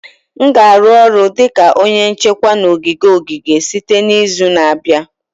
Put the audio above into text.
M ga-arụ ọrụ dị ka onye nchekwa na ogige ogige site n'izu na-abịa